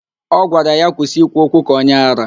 Ọ gwara ya, kwụsị ikwu okwu ka onye árá!